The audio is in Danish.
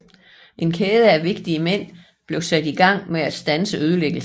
En kæde af vigtige mænd blev sat i gang med at standse ødelæggelsen